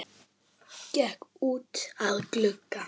SKÚLI: Hvort kjósið þér?